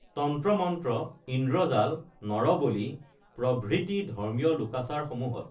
তন্ত্ৰ মন্ত্ৰ ইন্দ্ৰজাল নৰ বলি প্ৰভৃতি ধৰ্মীয় লোকাচাৰ সমূহত